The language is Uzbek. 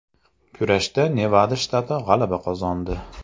Kurashda Nevada shtati g‘alaba qozondi.